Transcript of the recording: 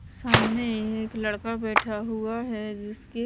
सामने एक लड़का बैठा हुआ है जिसकी--